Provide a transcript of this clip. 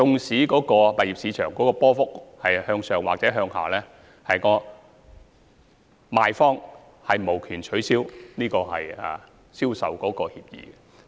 物業市場即使波幅向上或向下，賣方都無權取消銷售協議。